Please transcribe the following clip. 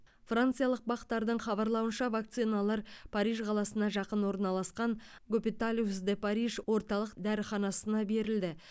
франциялық бақ тардың хабарлауынша вакциналар париж қаласына жақын орналасқан гопиталиус де париж орталық дәріханасына берілді